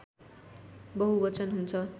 बहुवचन हुन्छ